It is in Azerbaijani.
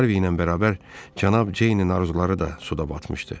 Harvi ilə bərabər Cənab Ceynin arzuları da suda batmışdı.